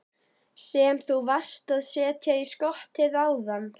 Sem þú varst að setja í skottið áðan?